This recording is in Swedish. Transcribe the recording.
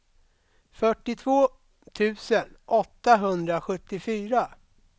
fyrtiotvå tusen åttahundrasjuttiofyra